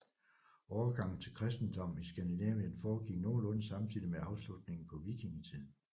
Overgangen til kristendom i Skandinavien foregik nogenlunde samtidig med afslutningen på vikingetiden